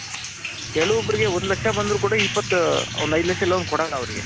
ಕೆಲವೊಬ್ರಿಗೆ ಒಂದ್ ಲಕ್ಷ ಬಂದ್ರು ಕೂಡ ಒಂದ್ ಏದು ಲಕ್ಷ ಲೋನ್ ಕೊಡಲ್ಲ ಅವರಿಗೆ.